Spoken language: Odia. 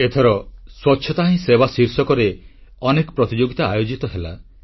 ଏଥର ସ୍ୱଚ୍ଛତା ହିଁ ସେବା ଶୀର୍ଷକରେ ଅନେକ ପ୍ରତିଯୋଗିତା ଆୟୋଜିତ ହେଲା